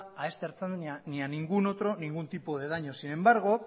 e este ertzaintza ni a ningún otro ningún tipo de daños sin embargo